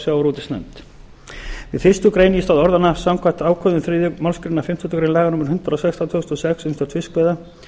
sjávarútvegsnefnd í fyrstu grein í stað orðanna samkvæmt ákvæðum þriðju málsgrein fimmtándu grein laga númer hundrað og sextán tvö þúsund og sex um stjórn fiskveiða